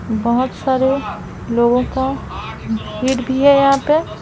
बोहोत सारे लोगों का भीड़ भी है यहाँ पे --